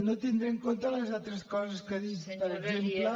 no tindré en compte les altres coses que ha dit per exemple